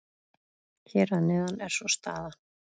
Hér að neðan er svo staðan.